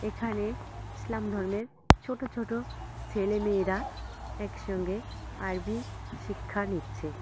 এখানে ইসলাম ধর্মের ছোট ছোট সেলে মেয়েরা একসঙ্গে আরবী শিক্ষা নিচ্ছে।